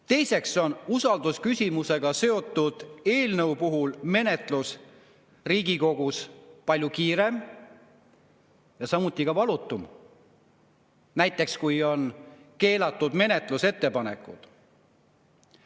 Teiseks on usaldusküsimusega seotud eelnõu puhul menetlus Riigikogus palju kiirem ja ka valutum, näiteks kui on keelatud menetlusettepanekud.